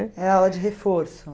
aula de reforço?